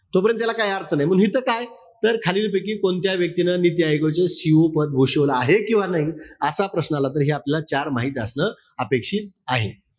तोपर्यंत त्याला काई अर्थ नाई. मंग हिथं काय? तर खालीलपैकी कोणत्या व्यक्तीन नीती आयोगाचं CEO पद भूषवलेलं आहे किंवा नाई, असा प्रश्न आला तर हे आपल्याला चार माहिती असणं अपेक्षित आहे.